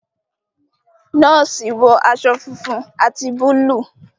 nọọsi wọ aṣọ fúnfún ati Búlúù.